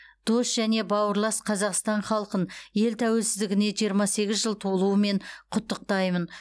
дос және бауырлас қазақстан халқын ел тәуелсіздігіне жиырма сегіз жыл толуымен құттықтаймын